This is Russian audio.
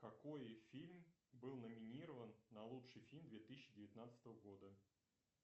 какой фильм был номинирован на лучший фильм две тысячи девятнадцатого года